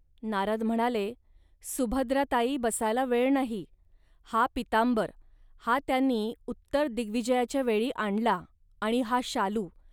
.नारद म्हणाले, "सुभद्राताई, बसायला वेळ नाही. हा पीतांबर, हा त्यांनी उत्तर दिग्विजयाच्या वेळी आणला आणि हा शालू